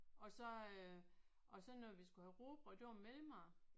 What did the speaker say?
Og så øh og så når vi skulle have rugbrød det var mellemmad